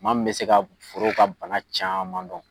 Maa mun be se ka forow ka bana caman dɔn.